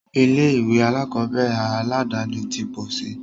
Ilé ìwé alákọ̀berẹ̀ aládàni ti pọ̀ síi.